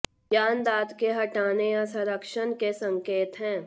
ज्ञान दांत के हटाने या संरक्षण के संकेत हैं